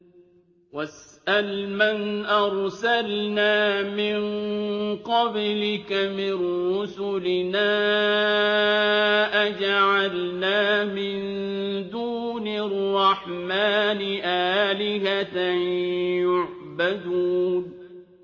وَاسْأَلْ مَنْ أَرْسَلْنَا مِن قَبْلِكَ مِن رُّسُلِنَا أَجَعَلْنَا مِن دُونِ الرَّحْمَٰنِ آلِهَةً يُعْبَدُونَ